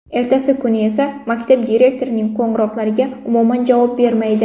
Ertasi kuni esa maktab direktorining qo‘ng‘iroqlariga umuman javob bermaydi.